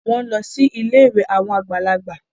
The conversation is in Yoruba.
Wọ́n ń lọ sí ilé àwọn àgbàlagbà